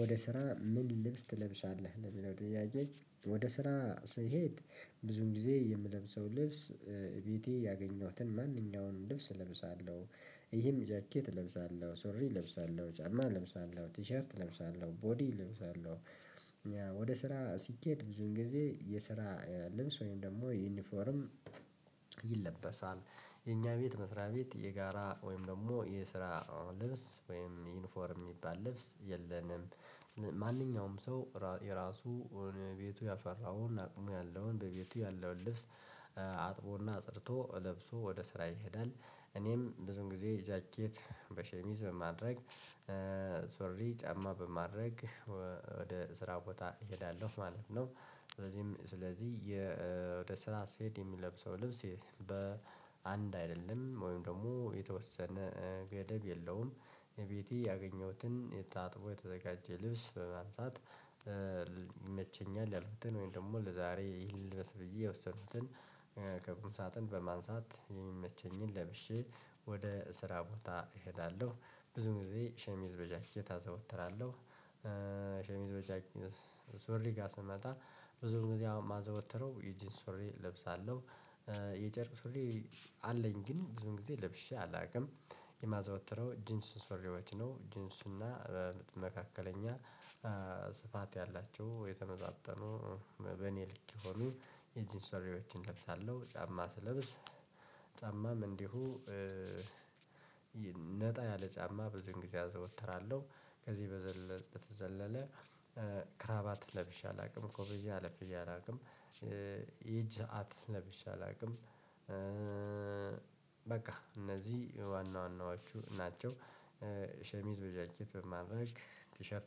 ወደ ስራ ምን ልብስ ትለብሳለህ ለሚለው ጥያቄ? ወደ ስራ ስሄድ ብዙ ጊዜ የምለብሰው ልብስ ቤቴ ያገኘሁትን ማንኛውም ልብስ እለብሳለሁ። ይህም ጃኬት እለብሳለሁ ሱሪ እለብሳለሁ ጫማ እለብሳለሁ ቲሸርት እለብሳለሁ ቦዲ እለብሳለሁ። ወደ ስራ ሲኬድ ብዙን ጊዜ የስራ ልምስ ወይም ደግሞ ዩኒፎርም ይለበሳል። የኛ ቤት መስሪያ ቤት የጋራ ወይም ደግሞ የስራ ልብስ ወይም ዩኒፎርም የሚባል ልብስ የለንም። ማንኛውም ሰው የራሱ ቤቱ ያፈራውን አቅሙ ያለውን በቤቱ ያለውን ልብስ አጥቦ እና አጽድቶ ለብሶ ወደ ስራ ይሄዳል። እኔም ብዙን ጊዜ ጃኬት በሸሚዝ በማድረግ ሱሪ ጫማ በማድረግ ወደ ስራ ቦታ እሄዳለሁ ማለት ነው። ስለዚህም ስለዚህ ወደ ስራ ስሄድ የምለብሰው ልብስ በ አንድ አይደለም ወይም ደግሞ የተወሰነ ገደብ የለውም። ቤቴ ያገኘሁትን ታጥቦ የተዘጋጀ ልብስ በማንሳት ይመቸኛል ያልኩትን ወይም ደግሞ ለዛሬ ልልበስ ብዬ የወሰኩትን ከቁምሳጥን በማንሳት የሚመቸኝን ለብሼ ወደ ስራ ቦታ እሄዳለሁ ብዙ ጊዜ ሸሚዝ በጃኬት አዘወትራለሁ። ሸሚዝ በጃኬት ሱሪ ጋር ስመጣ ብዙ ጊዜ አሁን ማዘወትረው የጂንስ ሶሪ እለብሳለሁ። የጨርቅ ሶሪ አለኝ ግን ብዙ ጊዜ ለብሼ አላውቅም። የማዘወተረው ጂንስ ሱሪዎች ነው ጂንስ እና መካከለኛ ስፋት ያላቸው የተመጣጠኑ በእኔ ልክ የሆኑ የጅንስ ሱሪዎችን እለብሳለሁ። ጫማ ስለብስ ጫማም እንዲሁ ነጣ ያለ ጫማ ብዙን ጊዜ አዘወትራለሁ። ከዚህ በዘለለ ከረባት ለብሽ አላውቅም ኮፍያ ለብሼ አላውቅም። የእጅ ሰዓት ለብሼ አላውቅም። በቃ እነዚህ ዋና ዋናዎቹ ናቸው። ሸሚዝ በጃኬት በማድረግ ቲሸርት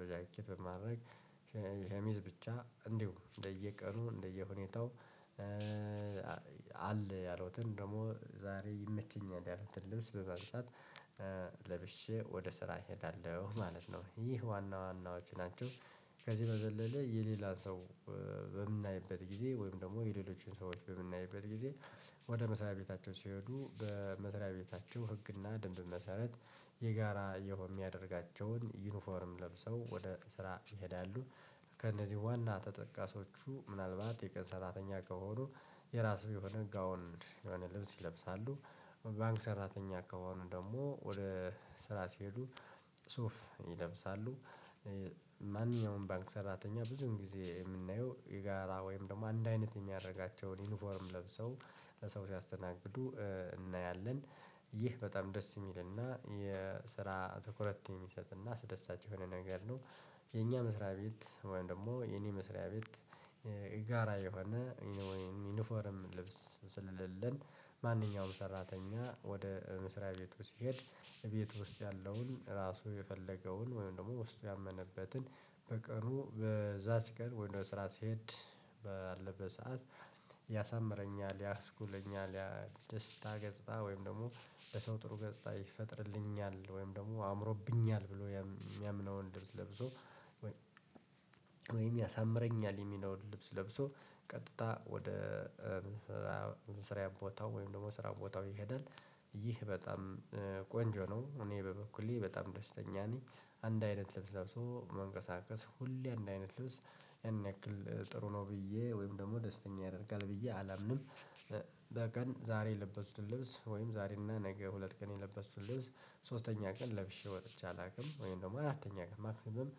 በጃኬት በማድረግ ሸሚዝ ብቻ እንዲሁ እንደየቀኑ እንደየሁኔታው አለ ያለውትን ደግሞ ዛሬ ይመቸኛል ያለውትን ልብስ በማንሳት ለብሼ ወደ ስራ እሄዳለሁ ማለት ነው ይህ ዋና ዋናዎቹ ናቸው። ከዚህ በዘለለ የሌላ ሰው በምናይበት ጊዜ ወይም ደግሞ የሌሎቹን ሰዎች በምናይበት ጊዜ ወደ መስሪያ ቤታቸው ሲሄዱ በመስሪያ ቤታቸው ህግና ደንብ መሰረት የጋራ የሆነም የሚያደርጋቸውን ዩኒፎርም ለብሰው ወደ ስራ ይሄዳሉ። ከእነዚህ ዋና ተጠቃሾቹ ምናልባት የቀን ሰራተኛ ከሆኑ የራሱ የሆነ ጋውንድ የሆነ ልብስ ይለብሳሉ። ባንክ ሰራተኛ ከሆኑ ደግሞ ወደ ስራ ሲሄዱ ሱፍ ይለብሳሉ። ማንኛውም ባንክ ሰራተኛ ብዙን ጊዜ የምናየው የጋራ ወይም ደግሞ አንድ አይነት የሚያደርጋቸውን ዩኒፎርም ለብሰው ለሰው ሲያስተናግዱ እናያለን። ይህ በጣም ደስ የሚልና የስራ ትኩረት የሚሰጥና አስደሳች የሆነ ነገር ነው። የኛ መስሪያ ቤት ወይም ደግሞ የኔ መስሪያ ቤት ጋራ የሆነ ወይም ዩኒፎርም ልብስ ስለሌለን። ማንኛውም ሰራተኛ ወደ ምስሪያ ቤቱ ሲሄድ ቤት ውስጥ ያለውን ራሱ የፈለገውን ወይም ደግሞ ውስጡ ያመነበትን በቀኑ በዛ ሲቀርብ ወይም ወደ ስራ ስሄድ ባለበት ሰዓት ያሳምረኛል። ያስኩለኛል ያ ደስታ ገጽታ ወይም ደግሞ በሰው ጥሩ ገጽታ ይፈጥርልኛል ወይም ደግሞ አምሮብኛል ብሎ የሚያምነውን ልብስ ለብሶ። ወይም ያሳምረኛል የሚለውን ልብስ ለብሶ ቀጥታ ወደ መስርያ ቦታው ወይም ደግሞ ስራ ቦታው ይሄዳል። ይህ በጣም ቆንጆ ነው እኔ በበኩሌ በጣም ደስተኛ ነኝ። አንድ አይነት ልብስ ለብሶ መንቀሳቀስ ሁሌ አንድ አይነት ልብስ ያን ያክል ጥሩ ነው ብዬ ወይም ደግሞ ደስተኛ ያደርጋል ብዬ አላምንም። በቀን ዛሬ የለበስኩትን ልብስ ወይም ዛሬ እና ነገ ሁለት ቀን የለበስኩትን ልብስ ሶስተኛ ቀን ለብሼ ወጥቼ አላውቅም ወይም ደግሞ አራተኛ ቀን ማክሲመም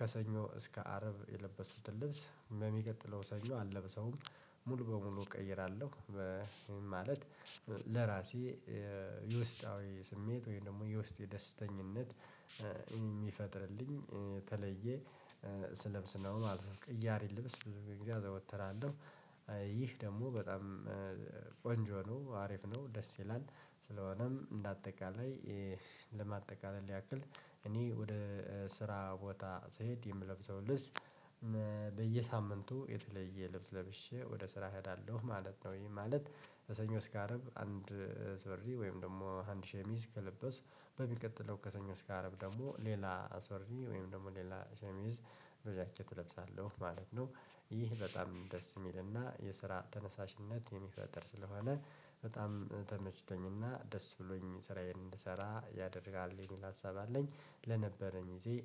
ከሰኞ እስከ አረብ የለበስኩትን ልብስ በሚቀጥለው ሰኞ አለብሰውም ሙሉ በሙሉ እቀይራለሁ። ማለት ለራሴ የውስጣዊ ስሜት ወይም ደግሞ የውስጤ ደስተኝነት የሚፈጥርልኝ ተለየ ስለብስ ነው ማለት ነው። ቅያሪ ልብስ ብዙ ጊዜ አዘወትራለሁ። ይህ ደግሞ በጣም ቆንጆ ነው አሪፍ ነው ደስ ይላል። ስለሆነም እንደ አጠቃላይ ለማጠቃለል ያክል እኔ ወደ ስራ ቦታ ስሄድ የምለብሰው ልብስ በየሳምንቱ የተለየ ልብስ ለብሼ ወደ ስራ እሄዳለሁ ማለት ነው። ይሄ ማለት ከሰኞ እስከ አርብ አንድ ሱሪ ወይም ደግሞ አንድ ሸሚዝ ከለበስኩ በሚቀጥለው ከሰኞ እስከ አረብ ደግሞ ሌላ ሱሪ ወይም ደግሞ ሌላ ሸሚዝ በጃኬት እለብሳለሁ ማለት ነው። ይህ በጣም ደስ የሚልና የስራ ተነሳሽነት የሚፈጠር ስለሆነ በጣም ተመችቶኝና ደስ ብሎኝ ስራዬን እንድሰራ ያደርጋል የሚል ሀሳብ አለኝ። ለነበረኝ ይዜ